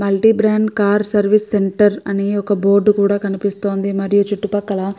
Multi brand car service centre అని ఒక board కూడా కనిపిస్తోంది. మరియు చుట్టుప్రక్కల --